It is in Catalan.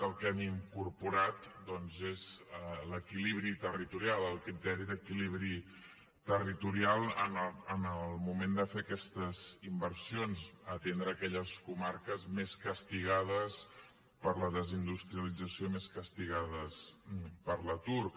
el que hi hem incorporat doncs és l’equilibri territorial el criteri d’equilibri territorial en el moment de fer aquestes inversions atendre aquelles comarques més castigades per la desindustrialització més castigades per l’atur